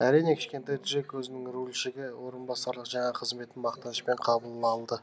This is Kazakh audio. әрине кішкентай джек өзінің рульшіге орынбасарлық жаңа қызметін мақтанышпен қабыл алды